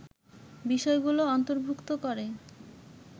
বিষয়গুলো অন্তর্ভুক্ত করে